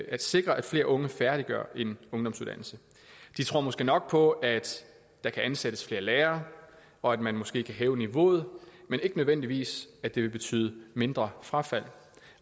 at sikre at flere unge færdiggør en ungdomsuddannelse de tror måske nok på at der kan ansættes flere lærere og at man måske kan hæve niveauet men ikke nødvendigvis at det vil betyde mindre frafald